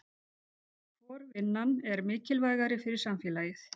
Hvor vinnan er mikilvægari fyrir samfélagið?